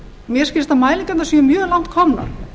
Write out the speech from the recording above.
mér skilst að mælingarnar séu mjög langt komnar